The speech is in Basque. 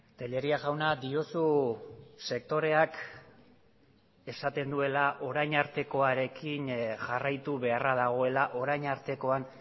tellería jauna diozu sektoreak esaten duela orain artekoarekin jarraitu beharra dagoela orain artekoan